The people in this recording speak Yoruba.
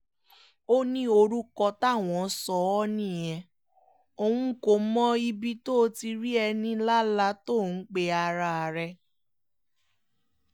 ó ní orúkọ táwọn sọ ọ́ nìyẹn òun kò mọ ibi tó ti rí enílálà tó ń pe ara rẹ̀